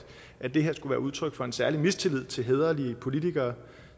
at det her skulle være udtryk for en særlig mistillid til hæderlige politikere